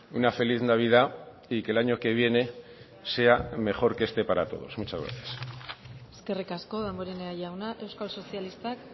una feliz navidad y que el año que viene sea mejor que este para todos muchas gracias eskerrik asko damborenea jauna euskal sozialistak